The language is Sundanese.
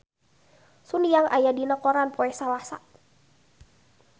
Sun Yang aya dina koran poe Salasa